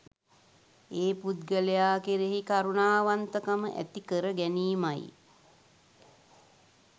ඒ පුද්ගලයා කෙරෙහි කරුණාවන්තකම ඇති කරගැනීමයි